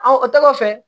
o tɔgɔ fɛ